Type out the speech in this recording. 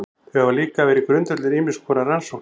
Þau hafa líka verið grundvöllur ýmiss konar rannsókna.